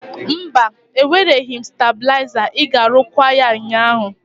Mba, ewereghị m stebụliazar iga rụkwaa ya ụnyaahụ.